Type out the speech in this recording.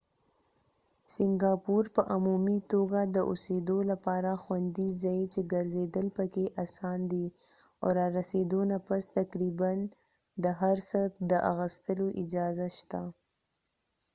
سنګاپور په عمومي توګه د اوسېدو لپاره خوندي ځای چې ګرځېدل پکې اسان دي او رارسېدو نه پس تقریبا د هر څه د اخستلو اجازه شته